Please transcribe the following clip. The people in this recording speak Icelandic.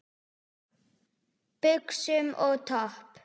Buxum og topp?